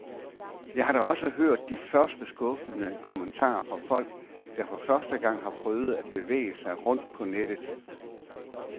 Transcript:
Jeg har da også hørt de første skuffede kommentarer fra folk, der for første gang har prøvet at bevæge sig rundt på nettet.